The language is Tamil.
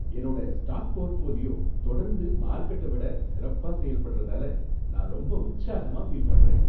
என்னோட ஸ்டாக் போர்ட்ஃபோலியோ தொடர்ந்து மார்க்கெட்ட விட சிறப்பா செயல்பட்றதால நான் ரொம்ப உற்சாகமாக ஃபீல் பண்றேன்.